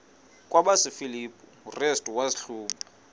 kwabasefilipi restu wazihluba